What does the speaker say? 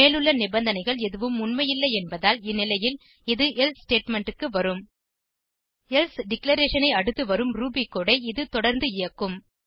மேலுள்ள நிபந்தனைகள் எதுவும் உண்மையில்லை என்பதால் இந்நிலையில் இது எல்சே ஸ்டேட்மெண்ட் க்கு வரும் எல்சே டிக்ளரேஷன் ஐ அடுத்து வரும் ரூபி கோடு ஐ இது தொடந்து இயக்கும்